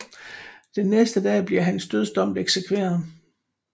Den næste dag bliver hans dødsom eksekveret